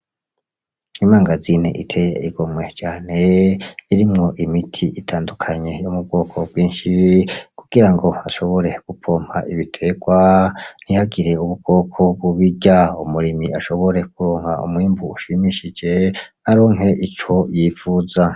Imangazini iteye igomwe cane, irimwo imiti itandukanye yo mu bwoko bwinshi, kugira ngo bashobore gupompa ibiterwa, ntihagire ubukoko bubirya umurimyi ashobore kuronka umwimbu ushimishije, aronke ico yipfuza .